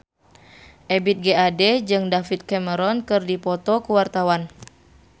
Ebith G. Ade jeung David Cameron keur dipoto ku wartawan